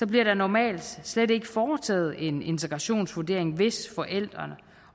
bliver der normalt slet ikke foretaget en integrationsvurdering hvis forældrene